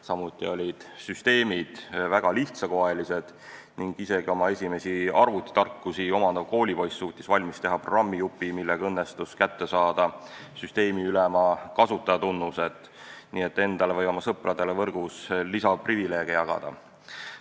Samuti olid süsteemid väga lihtsakoelised ning isegi oma esimesi arvutitarkusi omandav koolipoiss suutis valmis teha programmijupi, millega õnnestus kätte saada süsteemiülema kasutajatunnused, nii et endale või oma sõpradele võrgus lisaprivileege jagada.